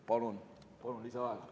Palun lisaaega!